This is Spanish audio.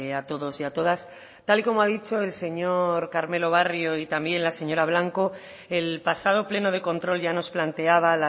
a todos y a todas tal y como ha dicho el señor carmelo barrio y también la señora blanco el pasado pleno de control ya nos planteaba